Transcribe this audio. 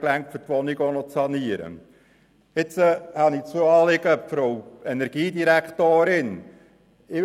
Jetzt habe ich zwei Anliegen an Frau Energiedirektorin Egger.